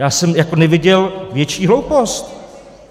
Já jsem jako neviděl větší hloupost.